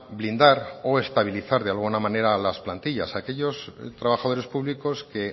blindar o estabilizar de alguna manera las plantillas aquellos trabajadores públicos que